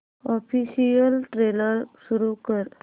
official trailer सुरू कर